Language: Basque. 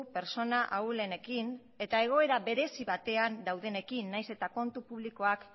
pertsona ahulenekin eta egoera berezi batean daudenekin nahiz eta kontu publikoak